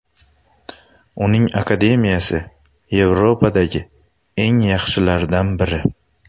Uning akademiyasi Yevropadagi eng yaxshilardan biri.